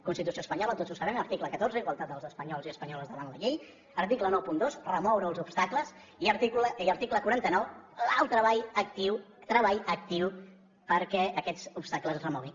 constitució espanyola tots ho sabem article catorze igualtat dels espanyols i espanyoles davant la llei article noranta dos remoure els obstacles i article quaranta nou el treball actiu perquè aquests obstacles es remoguin